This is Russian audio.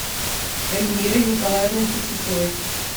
эльмирой николаевной фетисовой